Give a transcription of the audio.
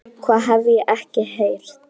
Það hef ég ekki heyrt.